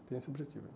Tenho esse objetivo.